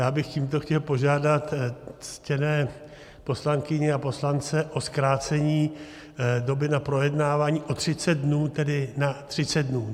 Já bych tímto chtěl požádat ctěné poslankyně a poslance o zkrácení doby na projednávání o 30 dnů, tedy na 30 dnů.